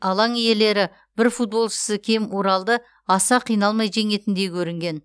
алаң иелері бір футболшысы кем уралды аса қиналмай жеңетіндей көрінген